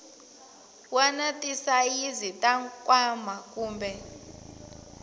wana tisayizi ta nkwama kumbe